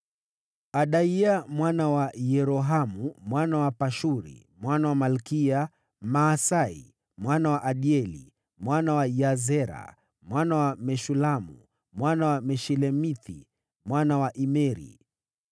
Adaya mwana wa Yerohamu, mwana wa Pashuri, mwana wa Malkiya; Maasai, mwana wa Adieli, mwana wa Yahzera, mwana wa Meshulamu, mwana wa Meshilemithi, mwana wa Imeri.